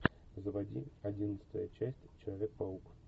заводи одиннадцатая часть человек паук